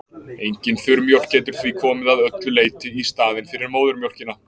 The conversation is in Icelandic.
Engin þurrmjólk getur því komið að öllu leyti í staðinn fyrir móðurmjólkina.